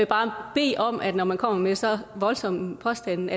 bare bede om at man når man kommer med så voldsomme påstande